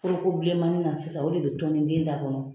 Foroko bilenmanin na sisan o de bɛ tɔni den da kɔnɔ.